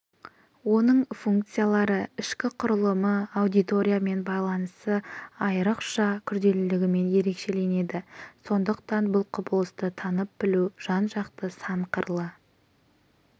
оның функциялары ішкі құрылымы аудиториямен байланысы айрықша күрделілігімен ерекшеленеді сондықтан бұл кұбылысты танып-білу жан-жақты сан қырлы